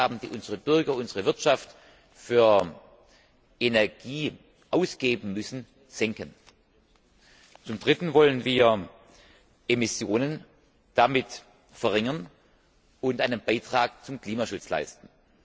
die Ausgaben, die unsere Bürger, unsere Wirtschaft für Energie ausgeben müssen, senken. Zum dritten wollen wir damit Emissionen verringern und einen Beitrag zum Klimaschutz leisten.